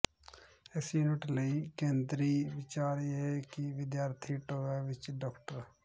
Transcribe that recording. ਇਸ ਯੂਨਿਟ ਲਈ ਕੇਂਦਰੀ ਵਿਚਾਰ ਇਹ ਹੈ ਕਿ ਵਿਦਿਆਰਥੀ ਟੋਆ ਵਿੱਚ ਡਾ